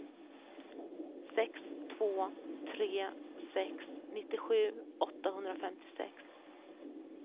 sex två tre sex nittiosju åttahundrafemtiosex